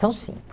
São cinco.